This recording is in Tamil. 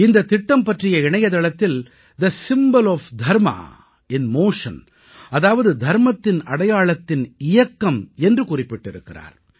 இந்தத் திட்டம் பற்றிய இணையதளத்தில் the symbol of Dharma in motion அதாவது தர்மத்தின் அடையாளத்தின் இயக்கம் என்று குறிப்பிட்டிருக்கிறார்